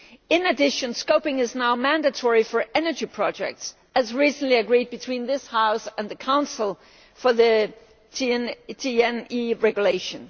In addition, scoping is now mandatory for energy projects, as recently agreed between this House and the Council for the TEN E Regulation.